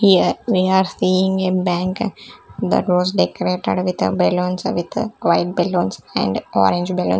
here we are seeing a bank that was decorated with balloons with white balloons and orange balloon.